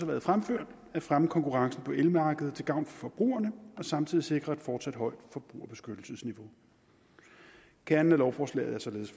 været fremført at fremme konkurrencen på elmarkedet til gavn for forbrugerne og samtidig sikre et fortsat højt forbrugerbeskyttelsesniveau kernen af lovforslaget er således